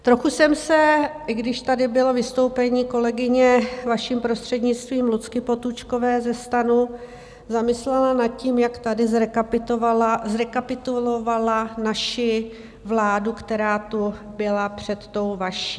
Trochu jsem se, když tady bylo vystoupení kolegyně, vaším prostřednictvím, Lucky Potůčkové ze STANu, zamyslela nad tím, jak tady zrekapitulovala naši vládu, která tu byla před tou vaší.